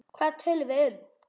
Hvað töluðum við um?